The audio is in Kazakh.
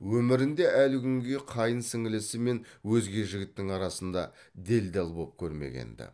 өмірінде әлі күнге қайын сіңлісі мен өзге жігіттің арасына делдал боп көрмеген ді